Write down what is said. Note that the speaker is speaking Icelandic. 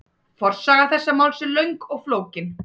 Forsaga þessa máls er löng og flókin.